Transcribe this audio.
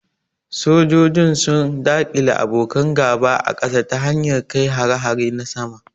Sojojin sun daƙile abokan gaba a kasa ta hanyar kai hare-hare na sama.